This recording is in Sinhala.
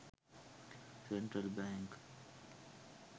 central bank